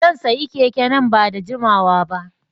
Zan sayi keke nan ba da jimawa ba.